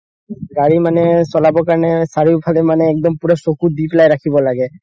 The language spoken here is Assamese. গাড়ী মানে চলাবৰ কাৰণে চাৰিওফালে একদম চকু দিকিনে ৰাখিব লাগে